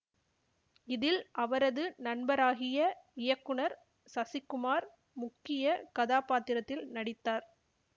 இதில் அவரது நண்பராகிய இயக்குனர் சசிக்குமார் முக்கிய கதாப்பாத்திரத்தில் நடித்தார்